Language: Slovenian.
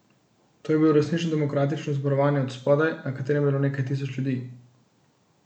To je bilo resnično demokratično zborovanje od spodaj, na katerem je bilo nekaj tisoč ljudi.